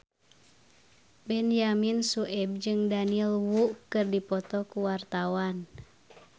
Benyamin Sueb jeung Daniel Wu keur dipoto ku wartawan